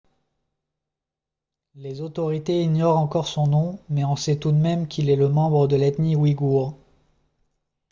les autorités ignorent encore son nom mais on sait tout de même qu'il est membre de l'ethnie ouïghour